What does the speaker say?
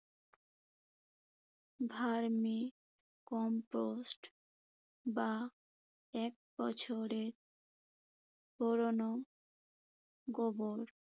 vermi compost বা এক বছরের পুরোনো গোবর